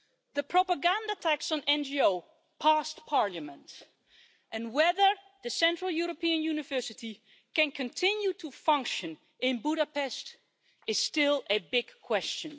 The propaganda tax on NGOs got through Parliament, and whether the Central European University can continue to function in Budapest is still a big question.